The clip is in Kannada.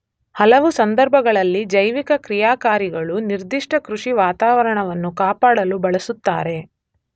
ಹಲವು ಸಂದರ್ಭಗಳಲ್ಲಿ ಜೈವಿಕ ಕ್ರಿಯಾಕಾರಿಗಳು ನಿರ್ಧಿಷ್ಟ ಕೃಷಿ ವಾತಾವರಣವನ್ನು ಕಾಪಾಡಲು ಬಳಸುತ್ತಾರೆ.